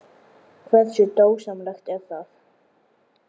Hversu dásamlegt er það?